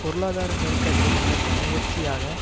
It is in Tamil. பொருளாதார நெருக்கடியை விளக்கும் முயற்சியாக